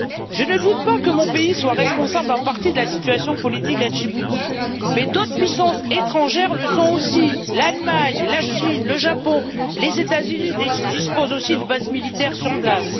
Je ne doute pas que mon pays soit responsable en partie de la situation politique à Djibouti, mais d'autres puissances étrangères le sont aussi l'Allemagne, la Chine, le Japon et les États Unis disposent aussi de bases militaires sur place.